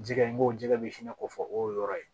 Jɛgɛ n b'o jɛgɛ de fɛnɛ ko fɔ o y'o yɔrɔ ye